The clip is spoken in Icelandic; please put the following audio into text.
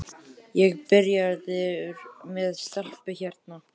Ég er byrjaður með stelpu hérna.